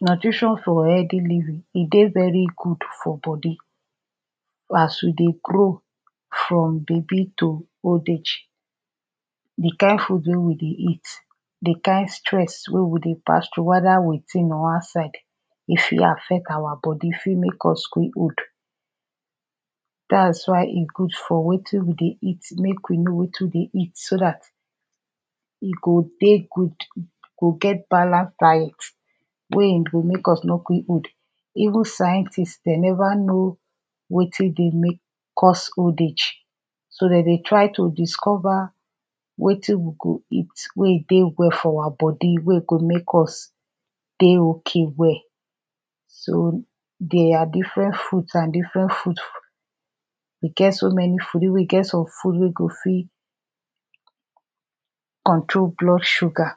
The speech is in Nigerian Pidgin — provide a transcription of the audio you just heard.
Nutrition for healthy living e dey very good for body. as we dey grow from babi to old age, di kind food wey we dey eat di kind stress wey we dey pass through, weda witin or outside e fit affect our body we fit make us quick old. dat is why e good for wetin we dey eat make we know wetin we dey eat so dat e dey good go get balanced diet, wey e go make us nor quick old, even scientist dem never know wetin dey make us old age so dem dey try to discover wetin we go eat wey e dey well for our body wey e go make us dey okay well. so they are different fruits and different food, e get so many food even e get some food wey go fih control blood sugar;